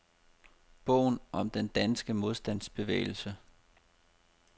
Bogen om den danske modstandsbevægelse.